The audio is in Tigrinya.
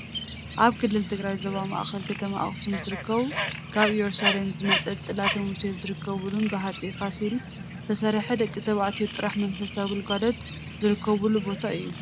ኣብ ክልል ትግራይ ዞባ ማእኸል ከተማ ኣክሱም ዝርከብ ካብ እየሩሳሌም ዝመፀት ፅላተ ሙሴ ዝርከበሉን ብ ሃፀይ ፋሲል ዝተሰርሐ ደቂ ተባዕትዮ ጥራሕ መንፈሳዊ ግልጋሎት ዝረኽብሉ ቦታ እዩ።